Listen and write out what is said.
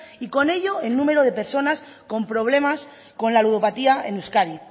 y con ello el número de personas con problemas con la ludopatía en euskadi